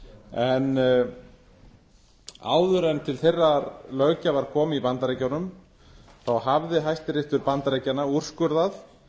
en áður en til þeirrar löggjafar kom í bandaríkjunum þá hafði hæstiréttur bandaríkjanna úrskurðað